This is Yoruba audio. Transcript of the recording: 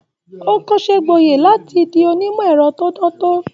O kọsẹ gboye láti fí onimọ ẹrọ to dantọ.